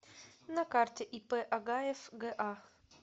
на карте ип агаев га